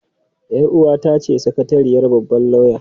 Yar uwata ce sakatariyar babban lauya.